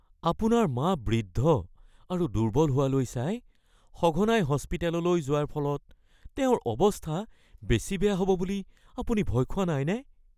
আপোনাৰ মা বৃদ্ধ আৰু দুৰ্বল হোৱালৈ চাই, সঘনাই হস্পিটেললৈ যোৱাৰ ফলত তেওঁৰ অৱস্থা বেছি বেয়া হ'ব বুলি আপুনি ভয় খোৱা নাইনে? (ব্যক্তি ১)